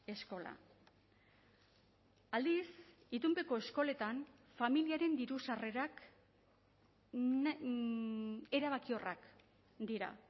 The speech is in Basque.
eskola aldiz itunpeko eskoletan familiaren diru sarrerak erabakiorrak dira